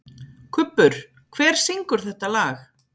Kubbur, hver syngur þetta lag?